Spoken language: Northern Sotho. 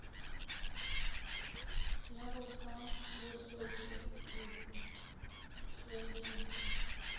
ya go fa bahloki dikhredite